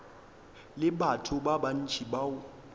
le batho ba bantši bao